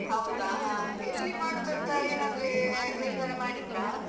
ಹೌದ ಹಾ ಎಲ್ಲಿ ಮಾಡುದಂತ ಏನಾದ್ರೆ ನಿರ್ಧಾರ ಮಾಡಿದ್ರಾ.